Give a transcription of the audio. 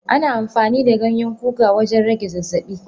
Ana amfani da Ganyen kuka wajen rage zazzabi.